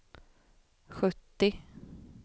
sjuttio